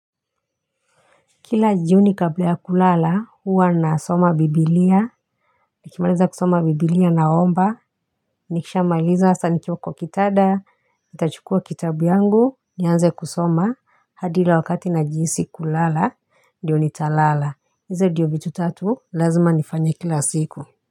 Kila jioni kabla ya kulala, huwa na soma biblia. Nikimaliza kusoma biblia naomba. Nikisha maliza asa nikiwa kwa kitanda. Nitachukua kitabu yangu. Nianze kusoma. Hadi ule wakati najihisi kulala. Ndiyo nitalala. Hizo ndio vitu tatu. Lazima nifanya kila siku.